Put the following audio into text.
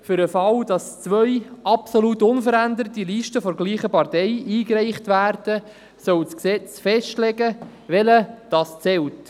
Für den Fall, dass zwei absolut unveränderte Listen derselben Partei eingereicht werden, soll das Gesetz festlegen, welche zählt.